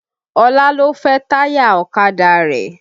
Ọlá lọ fẹ́ táyà ọ̀kadà rẹ̀